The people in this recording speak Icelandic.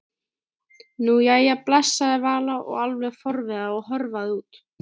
Nú, jæja bless sagði Vala alveg forviða og hörfaði út.